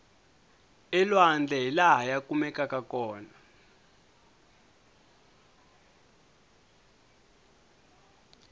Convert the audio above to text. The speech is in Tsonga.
elwandle hilaha ya kumekaku kona